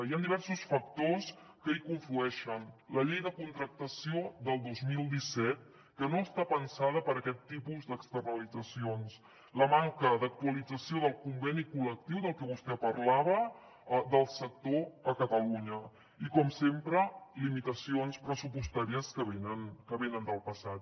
hi han diversos factors que hi conflueixen la llei de contractació del dos mil disset que no està pensada per a aquest tipus d’externalitzacions la manca d’actualització del conveni col·lectiu del que vostè parlava del sector a catalunya i com sempre limitacions pressupostàries que venen del passat